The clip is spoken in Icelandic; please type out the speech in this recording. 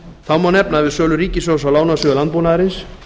þá má nefna að við sölu ríkissjóðs á lánasjóði landbúnaðarins